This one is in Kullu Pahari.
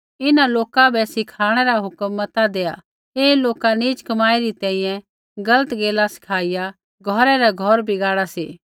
इन्हां लोका बै सिखाणै रा हुक्म मता देआ ऐ लोका नीच कमाई री तैंईंयैं गलत गैला सिखाईया घौरै रै घौर बिगाड़ै सी